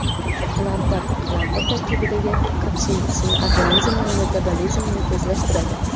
Qalampir Qalampir tarkibidagi kapsaitsin organizmda metabolizmni tezlashtiradi.